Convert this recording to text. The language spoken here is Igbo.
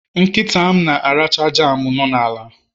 Nkita m na-aracha jam no n'ala